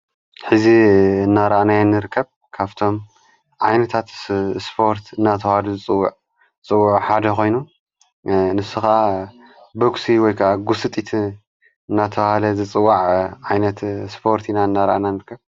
ሕዚ ናራእናዮ ንርከብ ካብቶም ዓይነታት እስፖርት ናተውሃሉ ዝጽዋዕ ሓደ ኾይኑ ንሱኻ በክሲ ወይከ ጕሥጢት ናተውሃለ ዝጽዋዕ ዓይነት ስፖርቲ ኢና እናራእናንርከብ ።